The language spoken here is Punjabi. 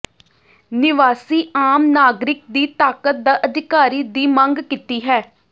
ਨਿਵਾਸੀ ਆਮ ਨਾਗਰਿਕ ਦੀ ਤਾਕਤ ਦਾ ਅਧਿਕਾਰੀ ਦੀ ਮੰਗ ਕੀਤੀ ਹੈ